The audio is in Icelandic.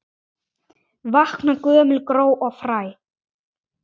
Vakna gömul gró og fræ.